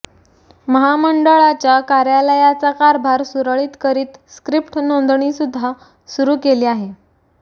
महामंडळाच्या कार्यालयाचा कारभार सुरळीत करीत स्क्रिप्ट नोंदणीसुद्धा सुरू केली आहे